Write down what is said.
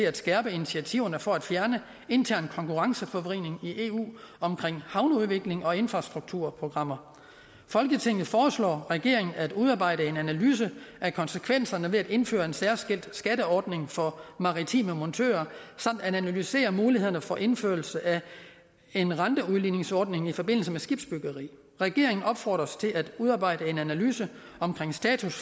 at skærpe initiativerne for at fjerne intern konkurrenceforvridning i eu omkring havneudvikling og infrastrukturprogrammer folketinget foreslår regeringen at udarbejde en analyse af konsekvenserne ved at indføre en særskilt skatteordning for maritime montører samt at analysere mulighederne for indførelse af en renteudligningsordning i forbindelse med skibsbyggeri regeringen opfordres til at udarbejde en analyse omkring status